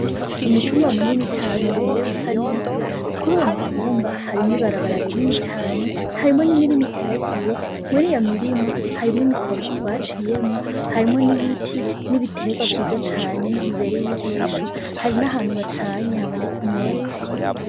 Umutumba munini cane ubrewe neza, kuruwo mutumba harimwo ibarabara rinini cane ,harimwo imirima iteragiye muriyo mirima harimwo imikobeko baciyemwo harimwo ibiti nibitegwa vyinshi cane biberey ijisho hari nahantu bacanye haboneka umwotsi.